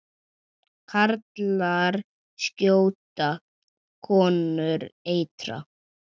Karlar skjóta, konur eitra.